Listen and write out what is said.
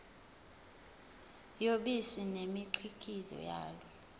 yobisi nemikhiqizo yalo